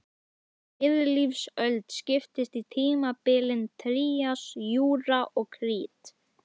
Miðlífsöld skiptist í tímabilin trías, júra og krít.